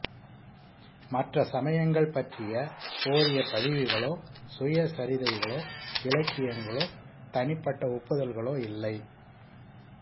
மற்ற சமயங்கள் பற்றிய போதிய பதிவுகளோ சுயசரிதைகளோ இலக்கியங்களோ தனிப்பட்ட ஒப்புதல்களோ இல்லை